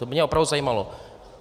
To by mě opravdu zajímalo.